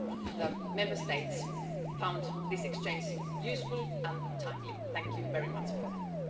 The Member States found this exchange useful and timely. Thank you very much for that.